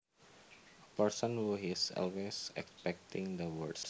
A person who is always expecting the worst